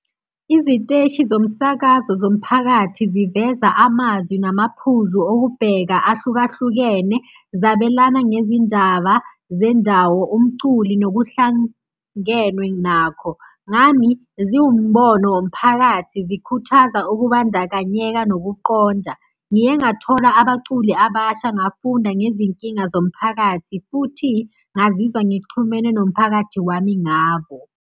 Iziteshi zomsakazo zomphakathi ziveza amazwi namaphuzu okubheka ahlukahlukene, zabelana ngezindaba zendawo, umculi nokuhlangenwe nakho. Ngami, ziwumbono womphakathi zikhuthaza ukubandakanyeka nokuqonda. Ngiye ngathola abaculi abasha ngafunda ngezinkinga zomphakathi futhi ngazizwa ngixhumene nomphakathi wami ngabo.